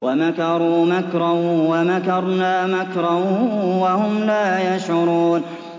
وَمَكَرُوا مَكْرًا وَمَكَرْنَا مَكْرًا وَهُمْ لَا يَشْعُرُونَ